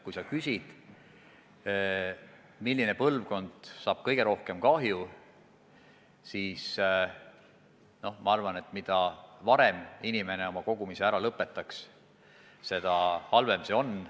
Kui sa küsid, milline põlvkond saab kõige rohkem kahju, siis ma arvan, et mida varem inimene oma kogumise ära lõpetab, seda halvem see on.